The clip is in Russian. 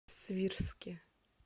свирске